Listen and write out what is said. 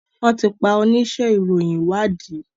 wón ti pá onísé ìròyìn ìwádìí.